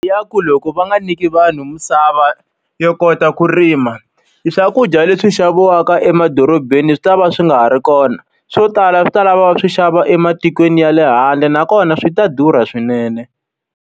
Ya ku loko va nga nyiki vanhu misava yo kota ku rima, e swakudya leswi xaviwaka emadorobeni swi ta va swi nga ha ri kona. Swo tala swi ta lava swi xava ematikweni ya le handle nakona swi ta durha swinene.